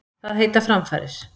Það heita framfarir.